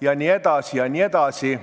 jne.